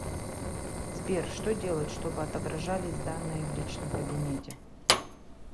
сбер что делать чтобы отображались данные в личном кабинете